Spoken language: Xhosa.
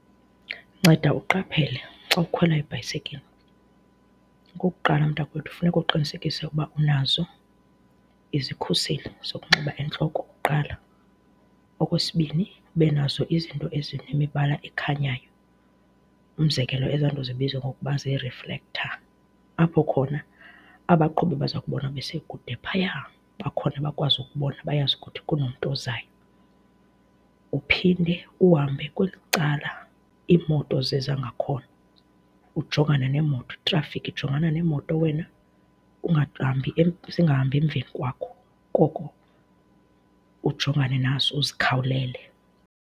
Nceda uqaphele xa ukhwela ibhayisekile. Okokuqala, mntakwethu, funeka uqinisekise ukuba unazo izikhuseli zokunxiba entloko kuqala. Okwesibini, ube nazo izinto ezinemibala ekhanyayo, umzekelo, ezaa nto zibizwa ngokuba ziriflektha apho khona, abaqhubi baza kubona besekude phayaa, bakhona bakwazi ukukubona bayazi ukuthi kunomntu ozayo. Uphinde uhambe kweli cala iimoto ziza ngakhona, ujongane neemoto, itrafikhi, jongana neemoto wena, ungahambi, zingahambi emveni kwakho, koko ujongane nazo, uzikhawulele.